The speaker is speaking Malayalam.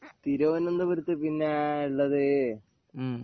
തിരുവന്തപുരത്ത് പിന്നെ ഉള്ളത്